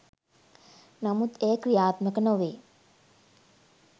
නමුත් එය ක්‍රියාත්මක නොවේ.